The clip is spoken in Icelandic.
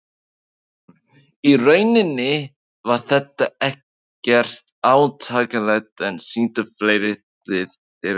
Í rauninni var þetta ekkert átakanlegt En sýndu fleiri lið þér áhuga?